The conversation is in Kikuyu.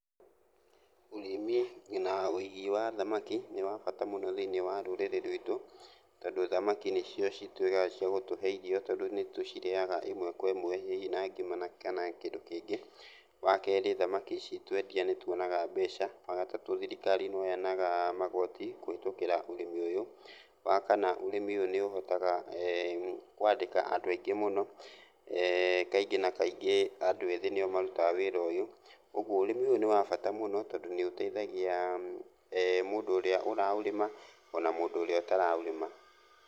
Ũrĩmi na wĩigi wa thamaki nĩ wa bata mũno thĩiniĩ wa rũrĩrĩ rwitũ, tondũ thamaki nĩcio cituĩkaga cia gũtũhe irio tondũ nĩtũcirĩaga ĩmwe kwa ĩmwe, hihi na ngima na kana kĩndũ kĩngĩ. Wa kerĩ, thamaki ici twendia nĩtuonaga mbeca. Wa gatatũ, thirikari no yonaga magoti kũhĩtũkĩra ũrĩmi ũyũ. Wakana ũrĩmi ũyũ nĩũhotaga kwandĩka andũ aingĩ mũno mũno, eeh kaingĩ na kaingĩ andũ ethĩ nĩo marutaga wĩra ũyũ, ũguo ũrĩmi ũyũ nĩ wa bata mũno, tondũ nĩũteithagia eeh mũndũ ũrĩa ũraũrĩma ona mũndũ ũrĩa ũtaraũrĩma.